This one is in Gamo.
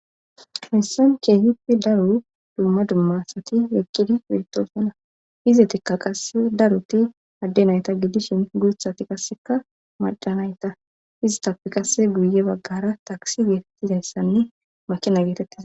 hessan kehippe daru dumma dummasati weqqidi pirtoosana izetikka qase daruti adde nayta gidishin gurthati kasseka madhanayta izitappi kase guye baggara taksi geetettizayssanne makina geetettiza